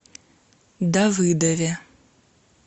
давыдове